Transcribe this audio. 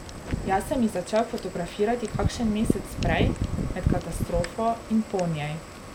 Jaz sem jih začel fotografirati kakšen mesec prej, med katastrofo in po njej.